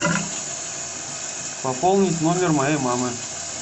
пополнить номер моей мамы